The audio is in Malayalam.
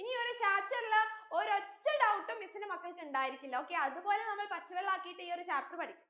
എനി ഒരു chapter ൽ ഒരൊറ്റ doubt miss ന്റെ മക്കൾക്ക് ഇണ്ടായിരിക്കില്ല okay അത് പോലെ നമ്മൾ പച്ചവെള്ളാക്കിട്ട് ഈ ഒരു chapter പഠിക്കും